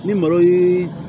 Ni malo ye